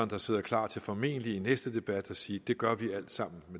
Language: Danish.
der sidder klar til formentlig i næste debat at sige det gør vi alt sammen